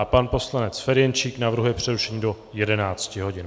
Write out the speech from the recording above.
A pan poslanec Ferjenčík navrhuje přerušení do 11 hodin.